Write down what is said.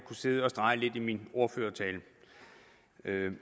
sidde og strege lidt i min ordførertale